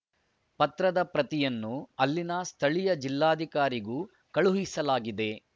ಪತ್ರದ ಪ್ರತಿಯನ್ನು ಅಲ್ಲಿನ ಸ್ಥಳೀಯ ಜಿಲ್ಲಾಧಿಕಾರಿಗೂ ಕಳುಹಿಸಲಾಗಿದೆ